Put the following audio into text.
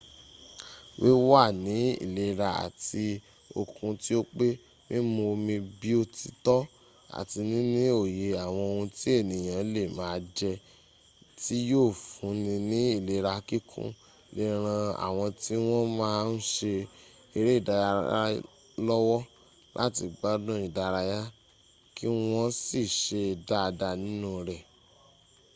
wíwà ní ìlera àti okun tí ó pé mímú omi bí oh ti tọ́ àti níní òye àwọn ohun tí ẹniyàn lè máa jẹ tí yóò fún ni ní ìlera kíkún lè ran àwọn tí wọn máa n ṣe eré ìdárayá lọ́wọ́ láti gbádun ìdárayá kí wọ́n sì ṣe dáadáa nínú rẹ̀